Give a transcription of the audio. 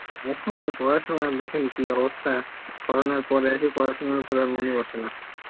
এখন আর শোনার পড়াশোনায় দেখেন কি অবস্থা, Corona আর পরে এসে আর পরাসনার উপর মন এ বসে না